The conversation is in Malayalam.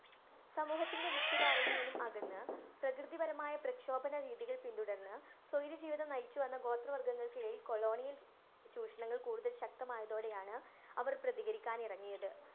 സമൂഹത്തിന്‍റെ മുഖ്യധാരയില്‍ നിന്ന് അകന്നു പ്രകൃതിപരമായ പ്രക്ഷോഭണ രീതികള്‍ പിന്തുടര്‍ന്ന് സ്വൈര്യജീവിതം നയിച്ചു വന്ന ഗോത്ര വര്‍ഗ്ഗങ്ങള്‍ക്കേ colonial ചൂഷണങ്ങള്‍ കൂടുതല്‍ ശക്തമായതോടെയാണ്‌ അവര്‍ പ്രതീകരിക്കാന്‍ ഇറങ്ങിയത്.